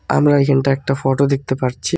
আমরা এখানটা একটা ফটো দেখতে পারছি।